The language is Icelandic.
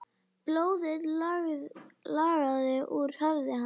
Blóðið lagaði úr höfði hans.